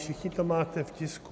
Všichni to máte v tisku.